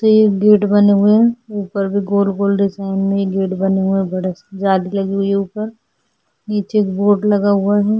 Gate बने हुए है ऊपर भी गोल गोल डिजाइन में गेट बनेगा बड़ी सी जाली लगी हुई है ऊपर नीचे गेट लगा हुआ है।